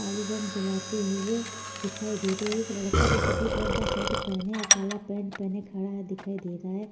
आलू बम जलाते हुए दिखाई दे रहे है एक लड़का जो सफ़ेद रंग का शर्ट पहने है और कला पैंट पहने खड़ा है दिखाई दे रहा है।